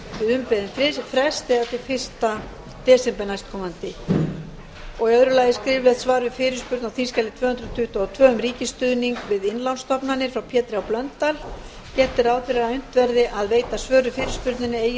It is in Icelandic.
við umbeðinn frest eða til fyrsta desember næstkomandi öðrum skriflegt svar við fyrirspurn á þingskjali tvö hundruð tuttugu og tvö um ríkisstuðning við innlánsstofnanir frá pétri h blöndal gert er ráð fyrir að unnt verði að veita svör við fyrirspurninni eigi